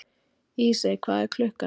Ísey, hvað er klukkan?